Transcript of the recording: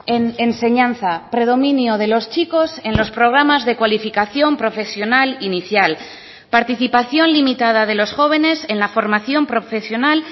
en enseñanza predominio de los chicos en los programas de cualificación profesional inicial participación limitada de los jóvenes en la formación profesional